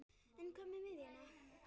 En hvað með miðjuna?